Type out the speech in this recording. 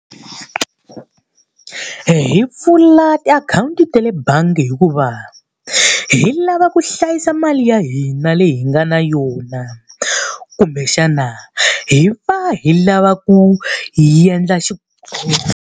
Hi mpfula tiakhawunti ta le bangi hikuva hi lava ku hlayisa mali ya hina leyi hi nga na yona, kumbexana hi va hi lava ku hi endla .